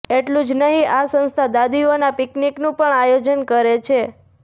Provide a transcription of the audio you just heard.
એટલું જ નહીં આ સંસ્થા દાદીઓના પિકનિકનું પણ આયોજન કરે છે